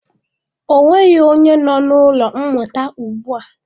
Ọ nweghị onye nọ n'ụlọ mmụta ugbua.